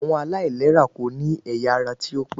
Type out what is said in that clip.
Àwọn aláìlera kò ní ẹ̀yà ara tí ó pé